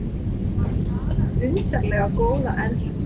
Hann talar undarlega góða ensku.